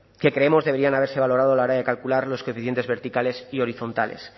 que creemos deberían haberse valorado a la hora de calcular los coeficientes verticales y horizontales